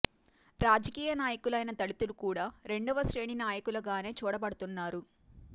రాజకీయ నాయ కులైన దళితులు కూడా రెండవ శ్రేణి నాయకులుగానే చూడబడుతు న్నారు